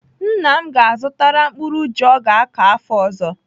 Nna m ga-azụtara mkpụrụ ji ọ ga-akọ afọ ọzọ.